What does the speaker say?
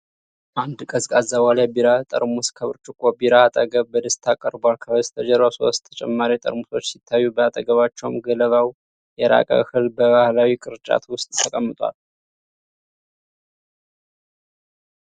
አንድ ቀዝቃዛ ዋልያ ቢራ ጠርሙስ ከብርጭቆ ቢራ አጠገብ በደስታ ቀርቧል። ከበስተጀርባው ሶስት ተጨማሪ ጠርሙሶች ሲታዩ፤ በአጠገባቸውም ገለባው የራቀ እህል በባሕላዊ ቅርጫት ውስጥ ተቀምጧል።